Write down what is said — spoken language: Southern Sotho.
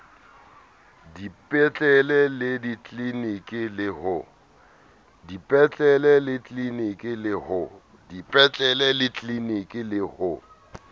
dipetlele le ditliliniki le ho